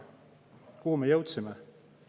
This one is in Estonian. Kuhu me jõudsime?